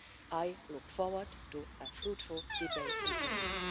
I look forward to a fruitful debate and thank you.